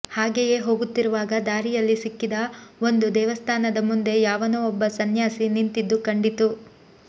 ಹಾಗೆಯೇ ಹೋಗುತ್ತಿರುವಾಗ ದಾರಿಯಲ್ಲಿ ಸಿಕ್ಕಿದ ಒಂದು ದೇವಸ್ಥಾನದ ಮುಂದೆ ಯಾವನೋ ಒಬ್ಬ ಸನ್ಯಾಸಿ ನಿಂತಿದ್ದು ಕಂಡಿತು